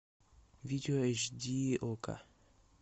видео эйч ди окко